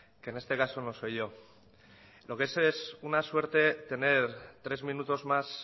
que en este caso no soy yo lo que sí es una suerte tener tres minutos más